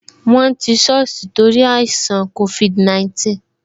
Won ti soosi nítorí àìṣàn covid 19